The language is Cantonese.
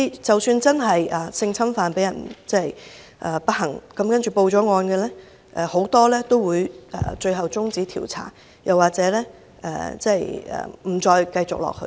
即使不幸被性侵犯的受害人報案，很多案件最後會被終止調查或不再繼續下去。